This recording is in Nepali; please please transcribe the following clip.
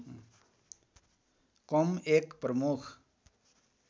कम एक प्रमुख